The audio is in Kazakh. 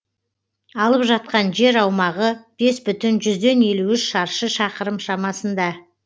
алып жатқан жер аумағы бес бүтін жүзден елу үш шаршы шақырым шамасында